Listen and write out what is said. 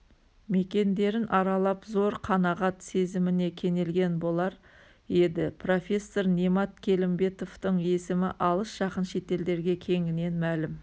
мекендерін аралап зор қанағат сезіміне кенелген болар еді профессор немат келімбетовтың есімі алыс-жақын шетелдерге кеңінен мәлім